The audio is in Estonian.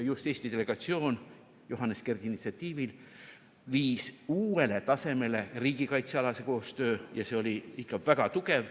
Just Eesti delegatsioon Johannes Kerdi initsiatiivil viis uuele tasemele riigikaitsealase koostöö ja see oli ikka väga tugev.